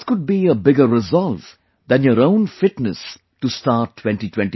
What could be a bigger resolve than your own fitness to start 2024